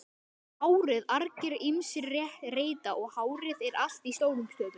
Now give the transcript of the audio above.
HÁRIÐ argir ýmsir reyta.